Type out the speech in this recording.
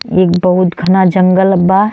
एक बहुत घना जंगल बा।